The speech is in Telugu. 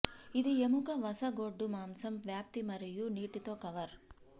ఇది ఎముక వస గొడ్డు మాంసం వ్యాప్తి మరియు నీటితో కవర్